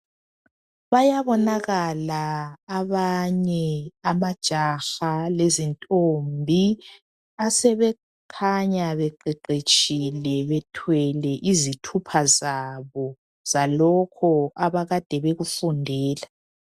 Bayabonakala abanye amajaha lezintombi asebekhanya beqeqetshile bethwele izithupha zabo zalokho abakade bekufundela.